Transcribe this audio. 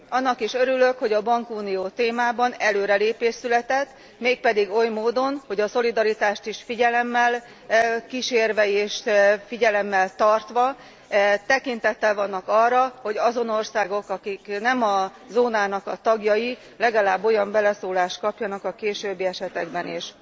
Annak is örülök, hogy a bankunió témájában előrelépés született, mégpedig oly módon, hogy a szolidaritást is figyelemmel kísérve és figyelemmel tartva tekintettel vannak arra, hogy azon országok, amelyek nem tagjai a zónának legalább olyan beleszólást kapjanak a későbbi esetekben is.